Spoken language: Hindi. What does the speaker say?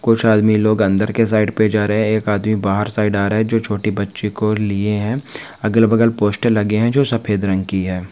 कुछ आदमी लोग अंदर के साइड पे जा रहे है एक आदमी बाहर साइड आ रहा है जो छोटी बच्ची को लिए है अगल बगल पोस्टर लगे है जो सफ़ेद रंग की है।